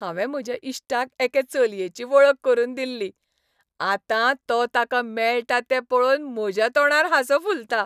हांवें म्हज्या इश्टाक एके चलयेची वळख करून दिल्ली, आतां तो ताका मेळटा तें पळोवन म्हज्या तोंडार हांसो फुलता.